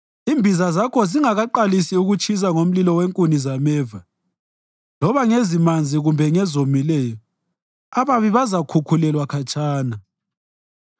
Imbiza zakho zingakaqalisi ukutshisa ngomlilo wenkuni zameva loba ngezimanzi kumbe ngezomileyo ababi bazakhukhulelwa khatshana.